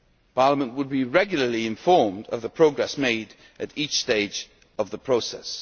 Parliament would be regularly informed of the progress made at each stage of the process.